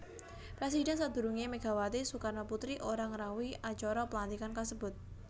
Presidhèn sadurungé Megawati Soekarnoputri ora ngrawuhi acara pelantikan kasebut